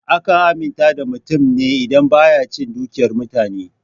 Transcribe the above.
Akan aminta da mutum ne idan baya cin dukiyar mutane.